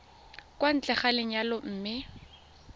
kwa ntle ga lenyalo mme